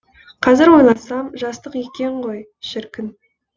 қазір ойласам жастық екен ғой шіркін